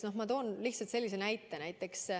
Ma toon lihtsalt sellise näite.